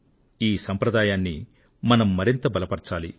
ఈ సంప్రదాయాన్ని మనం మరింత బలపరచాలి